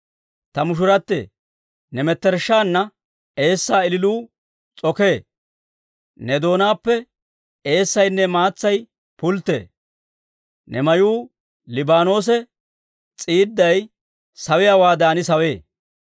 Ta mushurattee, ne mettershshaanna eessaa ililuu s'okee. Ne doonaappe eessaynne maatsay pulttee; ne mayuu Liibaanoosa s'iidday sawiyaawaadan sawee.